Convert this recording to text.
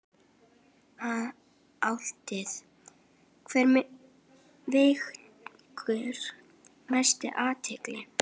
Álitið: Hver vekur mesta athygli?